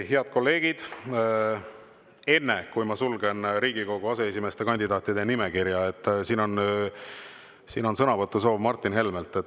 Head kolleegid, enne kui ma sulgen Riigikogu aseesimeeste kandidaatide nimekirja, on sõnavõtusoov Martin Helmel.